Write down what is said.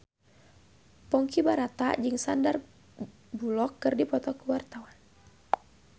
Ponky Brata jeung Sandar Bullock keur dipoto ku wartawan